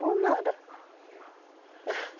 Por nada